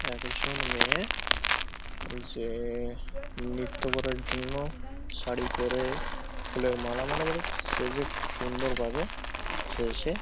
একজন মেয়ে যে নৃত্য করার জন্য শাড়ী পরে ফুলের মালা মোটামুটি সেজে খুব সুন্দর ভাবে সেজেছে ।